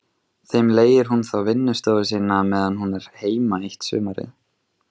Þeim leigir hún þá vinnustofu sína meðan hún er heima eitt sumarið.